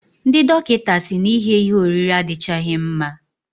Ndị dọkịta si na ighe ihe oriri adichaghi mma.